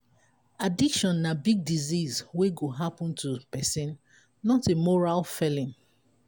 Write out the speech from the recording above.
addiction na big disease we go happen to pesin not a moral failing.